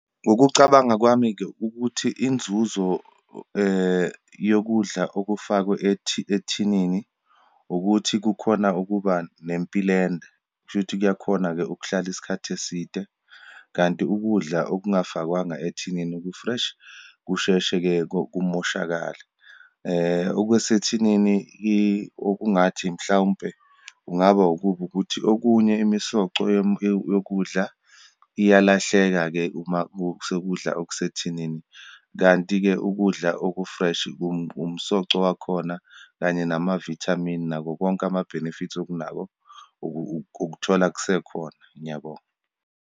Ngokucabanga kwami-ke, ukuthi inzuzo yokudla okufakwe ethinini ukuthi kukhona ukuba nempilo ende, kushuthi kuyakhona-ke ukuhlala isikhathi eside. Kanti ukudla okungafakwanga ethinini ku-fresh, kusheshe-ke kumoshakale. Okwesethinini okungathi, mhlawumpe kungaba ukubi ukuthi, okunye imisoco yokudla iyalahleka-ke uma sekudla okusethinini. Kanti-ke ukudla oku-fresh, umsoco wakhona, kanye namavithamini, nakho konke ama-benefits okunako, ukuthola kusekhona. Ngiyabonga.